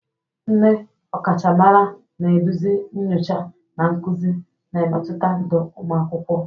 Ndị ọkachamara na-eduzi nyocha na nkuzi, na-emetụta ndụ ụmụ akwụkwọ.